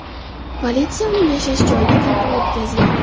Politsiya uning yashash joyida tintuv o‘tkazgan.